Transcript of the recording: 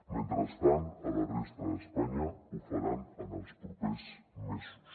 mentrestant a la resta d’espanya ho faran en els propers mesos